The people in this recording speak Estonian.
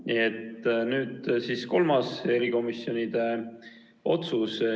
Nii et nüüd siis kolmas otsus erikomisjoni kohta.